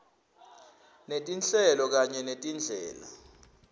netinhlelo kanye netindlela